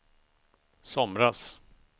somras